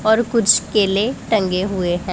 और कुछ केले टंगे हुए हैं।